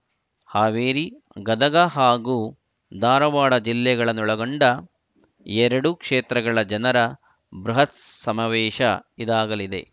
ಹಾವೇರಿ ಗದಗ ಹಾಗೂ ಧಾರವಾಡ ಜಿಲ್ಲೆಗಳನ್ನೊಳಗೊಂಡ ಎರಡು ಕ್ಷೇತ್ರಗಳ ಜನರ ಬೃಹತ್‌ ಸಮಾವೇಶ ಇದಾಗಲಿದೆ